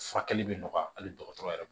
Furakɛli bɛ nɔgɔya hali dɔgɔtɔrɔ yɛrɛ